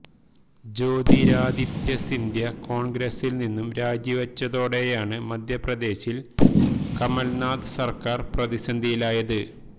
ജ്യോതിരാദിത്യ സിന്ധ്യ കോണ്ഗ്രസില് നിന്നും രാജിവെച്ചതോടെയാണ് മധ്യപ്രദേശില് കമല്നാഥ് സര്ക്കാര് പ്രതിസന്ധിയിലായത്